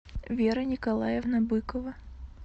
вера николаевна быкова